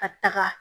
Ka taga